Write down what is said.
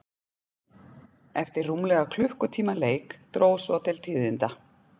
Eftir rúmlega klukkutíma leik dró svo til tíðinda.